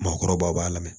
Maakɔrɔbaw b'a lamɛn